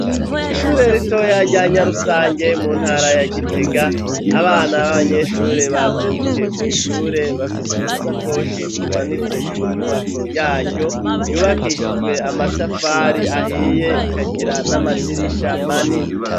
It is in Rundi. Ishure ritoya rya nyarusange mu ntara ya gitega, abana b'abanyeshure bazindukiye kw' ishure bafise udusakoshi tumanitse ku nyubako yaryo yubakishijwe amatafari ahiye ikagira n'amadirisha manini.